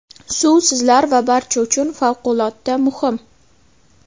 Suv sizlar va barcha uchun favqulodda muhim.